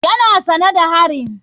Yana sane da harin.